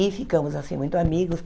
E ficamos, assim, muito amigos.